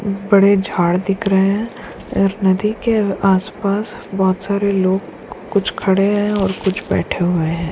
बड़े झाड़ दिख रहे हैं और नदी के आस-पास बहुत सारे लोग कुछ खड़े हैं कुछ बैठे हुए है।